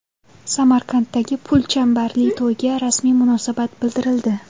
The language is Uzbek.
Samarqanddagi pulchambarli to‘yga rasmiy munosabat bildirildi.